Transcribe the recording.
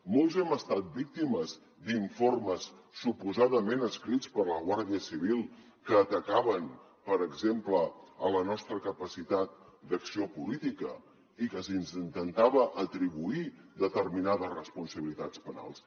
molts hem estat víctimes d’informes suposadament escrits per la guàrdia civil que atacaven per exemple la nostra capacitat d’acció política i que se’ns intentava atribuir determinades responsabilitats penals